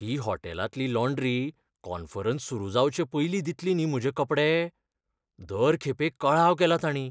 ही हॉटेलांतली laundry conference सुरू जावचे पयलीं दितली न्ही म्हजे कपडे? दर खेपे कळाव केला तांणी.